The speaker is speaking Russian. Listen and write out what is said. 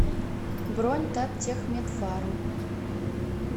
бронь таттехмедфарм